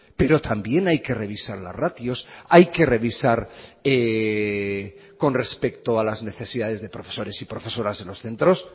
pero también hay que revisar los ratios hay que revisar con respecto a las necesidades de profesores y profesoras en los centros